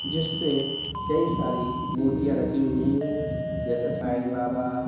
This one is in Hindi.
जिसपे कई सारी मूर्तियां रखी हुई हैं जैसे साईं बाबा।